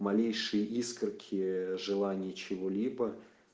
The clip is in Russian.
малейшее искорки желание чего-либо